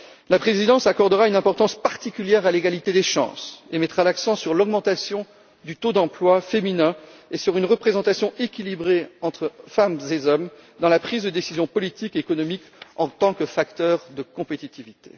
La présidence luxembourgeoise accordera une importance particulière à l'égalité des chances et mettra l'accent sur l'augmentation du taux d'emploi féminin et sur une représentation équilibrée entre femmes et hommes dans la prise de décision politique et économique en tant que facteurs de compétitivité.